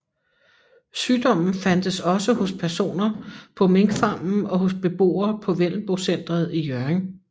Sygdommen fandtes også hos personer på minkfarmen og hos beboere på Vendelbocentret i Hjørring